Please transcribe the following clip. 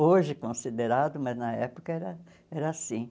Hoje considerado, mas na época era era assim.